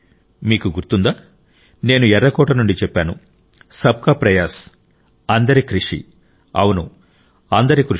మీకు గుర్తుందా నేను ఎర్రకోట నుండి చెప్పాను సబ్ కా ప్రయాస్ అందరి కృషి అవును అందరి కృషి